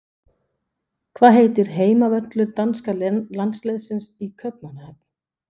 Hvað heitir heimavöllur danska landsliðsins í Kaupmannahöfn?